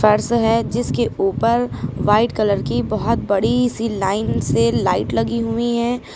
है जिसके ऊपर व्हाइट कलर की बहुत बड़ी सी लाइन से लाइट लगी हुई है।